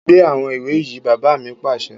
Gbé àwọn ìwé yìí! Bàbá mi pàṣẹ